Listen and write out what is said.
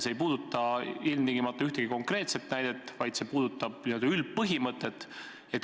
See ei puuduta ilmtingimata ühtegi konkreetset näidet, vaid see puudutab n-ö üldpõhimõtet.